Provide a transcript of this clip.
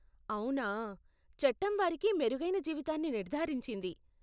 అవునా! చట్టం వారికి మెరుగైన జీవితాన్ని నిర్ధారించింది.